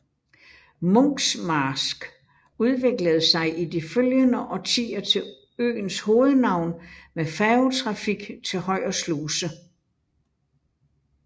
Munkmarsk udviklede sig i de følgende årtier til øens hovedhavn med færgetrafik til Højer Sluse